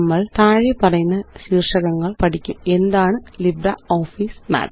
നമ്മള് താഴെപ്പറയുന്ന ശീര്ഷകങ്ങള് പഠിക്കും എന്താണ്LibreOffice മാത്ത്